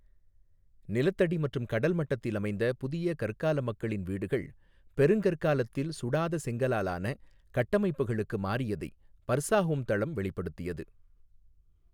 நிலத்தடி மற்றும் கடல்மட்டத்தில் அமைந்த புதிய கற்கால மக்களின் வீடுகள் பெருங்கற்காலத்தில் சுடாத செங்கலால் ஆன கட்டமைப்புகளுக்கு மாறியதை பர்சாஹோம் தளம் வெளிப்படுத்தியது.